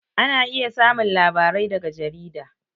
Ana iya samun labarai daga jarida